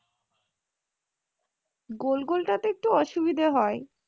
গোল গোল টাতে একটু অসুবিধা হয়,